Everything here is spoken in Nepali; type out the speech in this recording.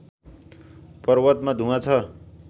पर्वतमा धुवाँ छ